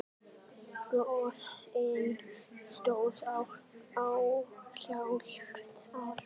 Gosið stóð í hálft ár.